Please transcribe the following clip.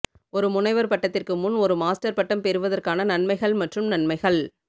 ஒரு முனைவர் பட்டத்திற்கு முன் ஒரு மாஸ்டர் பட்டம் பெறுவதற்கான நன்மைகள் மற்றும் நன்மைகள்